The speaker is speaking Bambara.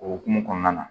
O hokumu kɔnɔna na